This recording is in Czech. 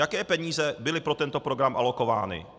Jaké peníze byly pro tento program alokovány?